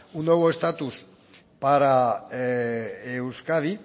un nuevo estatus para euskadi